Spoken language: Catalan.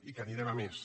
i que anirem a més